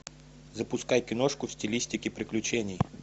запускай киношку в стилистике приключений